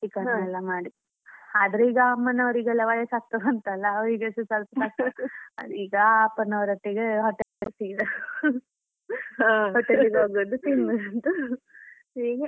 ಆದ್ರೆ ಈಗ ಅಮ್ಮನವರಿಗೆಲ್ಲ ವಯಸ್ಸು ಆಗ್ತಾ ಬಂತು ಅಲ್ಲ ಅವರಿಗೆಸ ಸ್ವಲ್ಪ ಈಗ ಅಪ್ಪನವರ ಒಟ್ಟಿಗೆ hotel ಗೆ ಹೋಗೋದು ತಿನ್ನುದು ಹೀಗೆ.